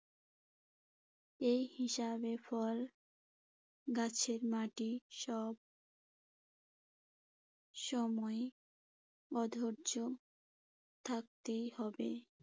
এ হিসাবে ফল গাছের মাটি সব সময় ও ধৈর্য থাকতেই হবে।